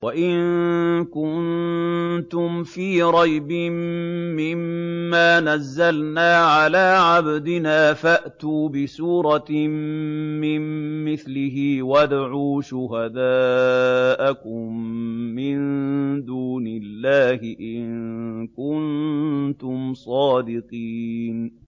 وَإِن كُنتُمْ فِي رَيْبٍ مِّمَّا نَزَّلْنَا عَلَىٰ عَبْدِنَا فَأْتُوا بِسُورَةٍ مِّن مِّثْلِهِ وَادْعُوا شُهَدَاءَكُم مِّن دُونِ اللَّهِ إِن كُنتُمْ صَادِقِينَ